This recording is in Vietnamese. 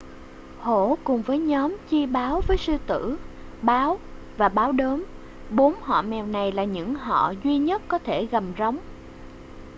hổ cùng nhóm chi báo với sư tử báo và báo đốm. bốn họ mèo này là những họ duy nhất có thể gầm rống